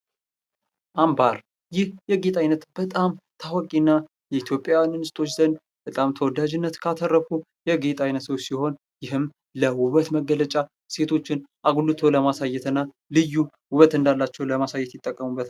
አምባር ፦ ይህ የጌጥ ዓይነት በጣም ታዋቂ እና የኢትዮጵያውያን እንስቶች ዘንድ በጣም ተወዳጅነት ካተረፉ የጌጥ አይነቶች ሲሆን ይህም ለውበት መገለጫ ሴቶችን አጉልቶ ለማሳየት እና ልዩ ውበት እንዳላቸው ለማሳየት ይጠቀሙበታል ።